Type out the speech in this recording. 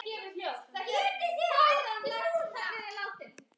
Það hafði öfug áhrif.